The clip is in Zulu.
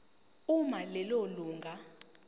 uma lelo lunga